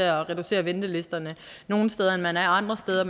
at reducere ventelisterne nogle steder end man er andre steder at